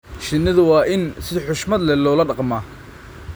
Shinnidu waa in si xushmad leh loola dhaqmaa.